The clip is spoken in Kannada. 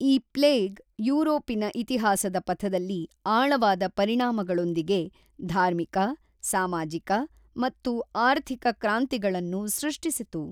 ಈ ಪ್ಲೇಗ್ ಯುರೋಪಿನ ಇತಿಹಾಸದ ಪಥದಲ್ಲಿ ಆಳವಾದ ಪರಿಣಾಮಗಳೊಂದಿಗೆ ಧಾರ್ಮಿಕ, ಸಾಮಾಜಿಕ ಮತ್ತು ಆರ್ಥಿಕ ಕ್ರಾಂತಿಗಳನ್ನು ಸೃಷ್ಟಿಸಿತು.